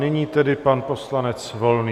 Nyní tedy pan poslanec Volný.